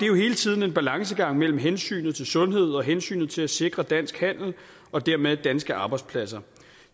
jo hele tiden en balancegang imellem hensynet til sundhed og hensynet til at sikre dansk handel og dermed danske arbejdspladser